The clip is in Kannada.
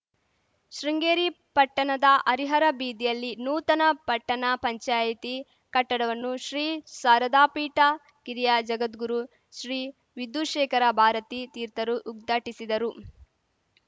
ಶೃಂಗೇರಿ ಪಟ್ಟಣದ ಹರಿಹರ ಬೀದಿಯಲ್ಲಿ ನೂತನ ಪಟ್ಟಣ ಪಂಚಾಯಿತಿ ಕಟ್ಟಡವನ್ನು ಶ್ರೀ ಶಾರದಾಪೀಠದ ಕಿರಿಯ ಜಗದ್ಗುರು ಶ್ರೀ ವಿಧುಶೇಖರ ಭಾರತೀ ತೀರ್ಥರು ಉದ್ಘಾಟಿಸಿದರು